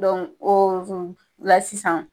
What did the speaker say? o la sisan